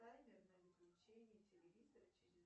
таймер на выключение телевизора через